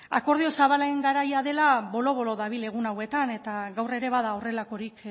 akordio zabalen garaia dela bolo bolo dabil egun hauetan eta gaur ere bada horrelakorik